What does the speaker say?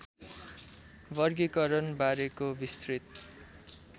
वर्गीकरण बारेको विस्तृत